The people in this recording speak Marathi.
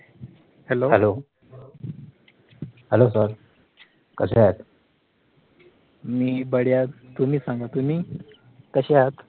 hello सर, कशे आहात? मी बढिया, तुम्ही सांगा, तुम्ही कशे आहात?